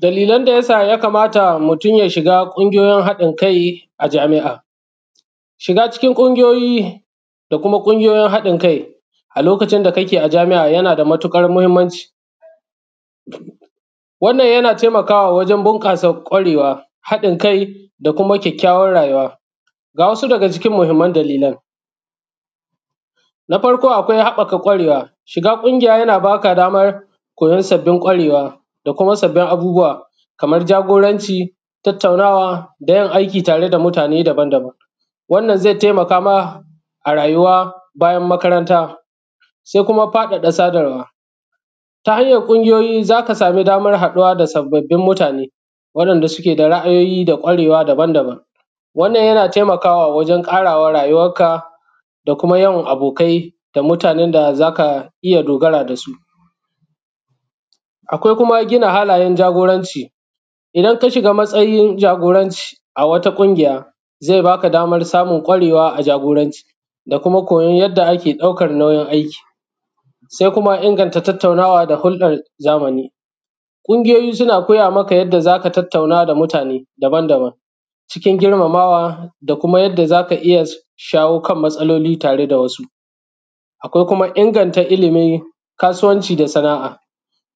Dalilan da ya sa mutun ya kamata ya shiga ƙungiyoyin haɗin kai a Jami’a, shiga cikin ƙungiyoyi da kuma ƙungiyyoyin haɗin kai a lokacin da kake a Jami’a yana da matuƙar mahimmanci, wannan yana taimakawa wajen bunƙasa kwarewa, haɗin kai da kuma kyakyawan rayuwa. Ga wasu daga cikin mahimman dalilan, na farko akwai haɓɓaƙa ƙwarewa, shiga ƙungiyuyi yana baka daman koyan ƙwarewa da kuma sabbin abubuwa, kaman jagoranci, tattaunawa aiki tare da mutane daban-daban wannan zai taimaka ma a rayuwa bayan makaranta se kuma faɗaɗa sadarwa ta hanyan ƙungiyoyi, za ka sama daman haɗuwa da sababbain mutane wayanda suke da ra’ayoyi da kwarewa daban-daban. Wannan yana taimakawa wajen ƙarawa rayuwanka da kuma yawan abokai da kuma mutanen da za ka iya dogara da su, akwai kuma gina halayen jagoranci idan ka shiga matsayin jagora ne a wata ƙungiya zai ba ka daman kwarewa a jagoranci da kuma koyan yanda ake ɗaukan nauyin aiki. Se kuma inganta tattaunawa da hurɗan zamani, ƙungiyoyi suna koya maka yanda za ka tattauna da mutane daban-daban cikin girmamawa da kuma yanda za ka ɗaukan matsaloli tare da wasu akwai kuma inganta ilimi, kasuwanci da sana’a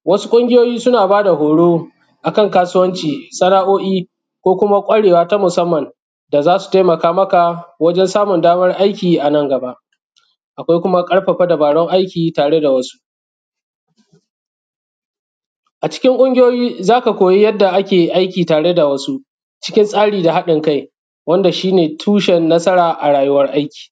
wasu ƙungiyoyi suna ba da horo akan kasuwanci, sana’o’i ko kuma kwarewa na musamman da za su taimakamaka wajen samun daman aiki, a nan gaba akwai kuma ƙarfafa dubarun aiki tare da wasu a cikin ƙungiyoyi, za ka koyi yanda ake aiki tare da wasu cikin tsari da haɗin kai wanda shi ne tushen nasara a rayuwan aiki.